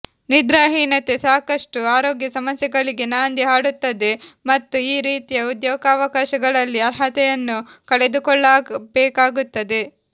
ನಿದ್ರಾಹೀನತೆ ಸಾಕಷ್ಟು ಆರೋಗ್ಯ ಸಮಸ್ಯೆಗಳಿಗೆ ನಾಂದಿ ಹಾಡುತ್ತದೆ ಮತ್ತು ಈ ರೀತಿಯ ಉದ್ಯೋಗಾವಕಾಶಗಳಲ್ಲಿ ಅರ್ಹತೆಯನ್ನು ಕಳೆದುಕೊಳ್ಳಬೇಕಾಗುತ್ತದೆ